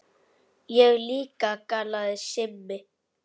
Ég líka galaði Simmi.